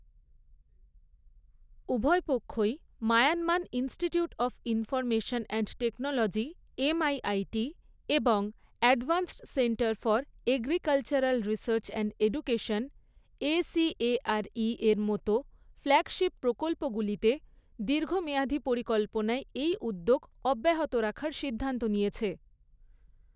উভয় পক্ষই Myanmar institute of information and technology MIIT এবং advanced centre for agricultural research and education এসিএআরইর মতো ফ্ল্যাগশিপ প্রকল্পগুলিতে দীর্ঘমেয়াদি পরিকল্পনায় এই উদ্যোগ অব্যাহত রাখার সিদ্ধান্ত নিয়েছে।